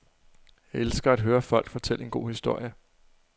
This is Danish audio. Jeg elsker at høre folk fortælle en god historie.